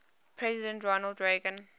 president ronald reagan